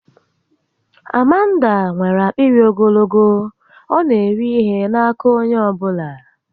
Amanda nwèrè akpịrị ogologo, ọ na eri ihe n'aka onye ọbụla